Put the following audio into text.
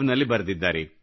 in ನಲ್ಲಿ ಬರೆದಿದ್ದಾರೆ